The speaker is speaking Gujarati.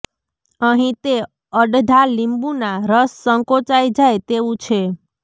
અહીં તે અડધા લીંબુ ના રસ સંકોચાઈ જાય તેવું છે